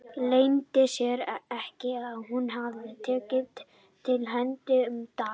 Leyndi sér ekki að hún hafði tekið til hendi um dagana.